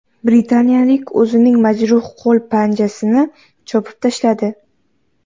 Britaniyalik o‘zining majruh qo‘l panjasini chopib tashladi.